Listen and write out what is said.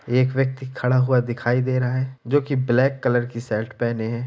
एक व्यक्ति खड़ा हुआ दिखाई दे रहा है जो कि ब्लैक कलर की शर्ट पहने हैं।